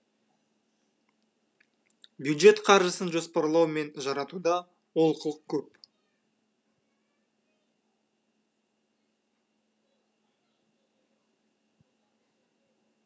бюджет қаржысын жоспарлау мен жаратуда олқылық көп